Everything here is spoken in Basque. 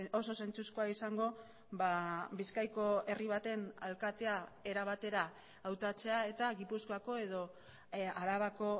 oso zentzuzkoa izango bizkaiko herri baten alkatea era batera hautatzea eta gipuzkoako edo arabako